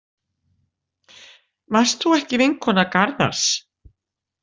Varst þú ekki vinkona Garðars?